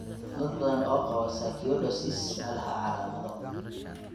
Dad badan oo qaba sarcoidosis ma laha calaamado.